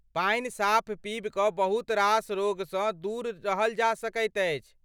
पानि साफ़ पीबि कऽ बहुत रास रोगसँ दूर रहल जा सकैत अछि।